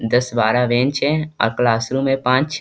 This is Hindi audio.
दस बारा बेंच है और क्लास रूम है पांच।